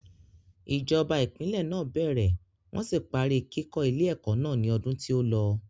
Ìjọba ìpínlè náà bẹ̀rẹ̀ wọ́n sì parí kíkó ilé ẹ̀kọ́ náà ni odun tí ó lọ.